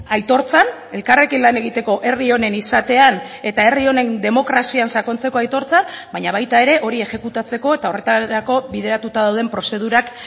aitortzan elkarrekin lan egiteko herri honen izatean eta herri honen demokrazian sakontzeko aitortzan baina baita ere hori exekutatzeko eta horretarako bideratuta dauden prozedurak